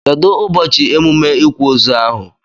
Kedu ụbọchị emume ikwa ozu ahụ?